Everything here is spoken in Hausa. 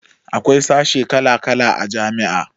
Akwai sashe kala kala a jami'a